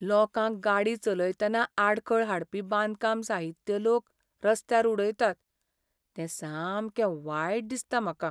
लोकांक गाडी चलयतना आडखळ हाडपी बांदकाम साहित्य लोक रस्त्यार उडयतात तें सामकें वायट दिसता म्हाका.